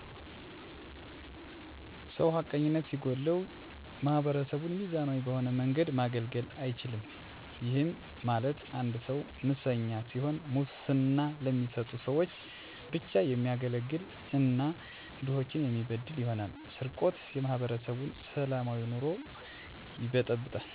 ሰው ሀቀኝነት ሲጎለዉ ማህበረሰቡን ሚዛናዊ በሆነ መንገድ ማገልገል አይችልም ይህም ማለት አንድ ሰዉ መሰኛ ሲሆን ሙስና ለሚሰጡ ሰዎች ብቻ የሚያገለግል እና ድሆችን የሚበድል ይሆናል። _ስርቆት የማህበረሰቡን ሰላማዊ ኑሮ ይበጠብጣል የሰዎች ኑሮ የቃዉሳል ከእቅድ ውጭ ያደርጋቸዋል። _የሀሰት ወሬ የእርስበርስ ግጭት ይፈጥራል ስለዚህ ማህበረሰቡ በጋራ በመሆን የወንጀል ተባባሪ ባለመሆንና ሀቀኝነት የጎደላቸዉን ግለሰቦች ለህግ አሳልፎ በመስጠት መከላከል ይቻላል።